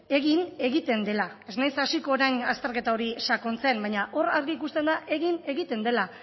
egin egiten dela ez naiz hasiko orain azterketa hori sakontzen baina hor argi ikusten da egin egiten dela